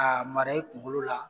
A mara e kunkolo la